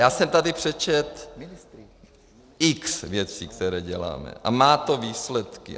Já jsem tady přečetl x věcí, které děláme, a má to výsledky.